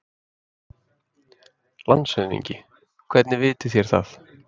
LANDSHÖFÐINGI: Hvernig vitið þér það?